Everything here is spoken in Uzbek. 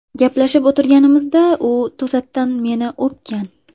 Gaplashib o‘tirganimizda u to‘satdan meni o‘pgan.